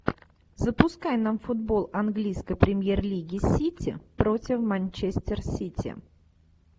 запускай нам футбол английской премьер лиги сити против манчестер сити